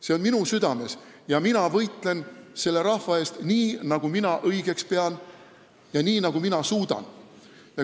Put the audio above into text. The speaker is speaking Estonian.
See on minu südames ja mina võitlen selle rahva eest nii, nagu mina õigeks pean, ja nii, nagu mina suudan.